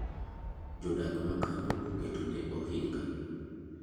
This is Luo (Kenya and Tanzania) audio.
Jodak makanyo oketo ne ohinga.